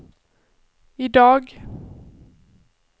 idag